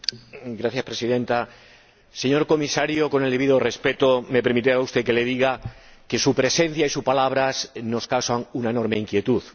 Señora Presidenta, señor Comisario, con el debido respeto, me permitirá usted que le diga que su presencia y sus palabras nos causan una enorme inquietud.